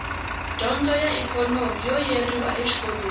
dyondzo a ikhonomi yo yeriwa exikolweni